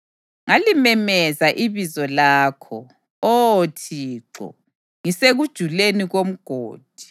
Ngalimemezela ibizo lakho, Oh Thixo, ngisekujuleni komgodi.